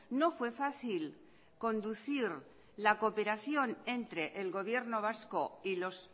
no fue fácil conducir la cooperación entre el gobierno vasco y los